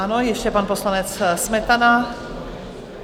Ano, ještě pan poslanec Smetana.